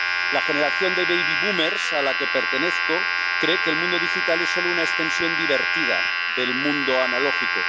La generación de baby boomers a la que pertenezco, cree que el mundo digital es solo una extensión divertida del mundo analógico.